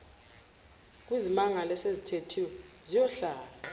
kwizimangalo esezithethiwe ziyohlala